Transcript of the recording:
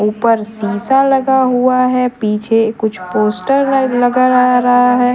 ऊपर शीशा लगा हुआ है पीछे कुछ पोस्टर लगा रहा है।